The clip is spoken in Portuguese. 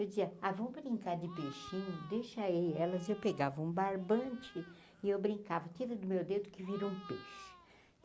Eu dizia, ah vamos brincar de peixinho, deixa aí elas, eu pegava um barbante e eu brincava, tira do meu dedo que vira um peixe.